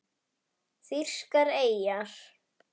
Þýskar eyjar